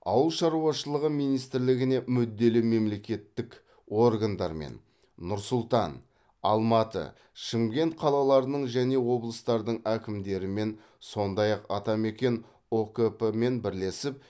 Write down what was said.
ауыл шаруашылығы министрлігіне мүдделі мемлекеттік органдармен нұр сұлтан алматы шымкент қалаларының және облыстардың әкімдерімен сондай ақ атамекен ұкп мен бірлесіп